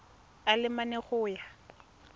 a le mane go ya